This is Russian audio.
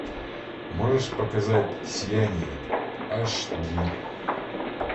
можешь показать сияние аш ди